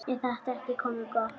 Er þetta ekki komið gott?